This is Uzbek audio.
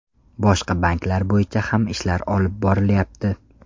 Boshqa banklar bo‘yicha ham ishlar olib borilyapti.